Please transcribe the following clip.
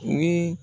Ni